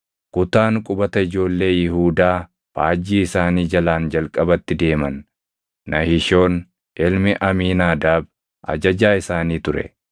Kutaan qubata ijoollee Yihuudaa faajjii isaanii jalaan jalqabatti deeman. Nahishoon ilmi Amiinaadaab ajajaa isaanii ture.